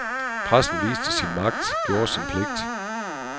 Pressen viste sin magt, gjorde sin pligt.